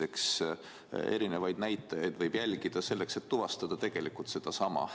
Eks erinevaid näitajaid võib jälgida, aga tuvastada võime tegelikult sedasama.